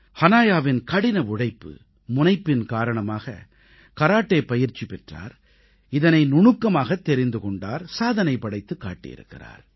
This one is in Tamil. ஹனாயாவின் கடின உழைப்பு முனைப்பின் காரணமாக கராட்டே பயிற்சி பெற்றார் இதனை நுணுக்கமாகத் தெரிந்து கொண்டார் சாதனை படைத்துக் காட்டியிருக்கிறார்